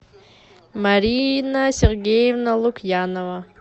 марина сергеевна лукьянова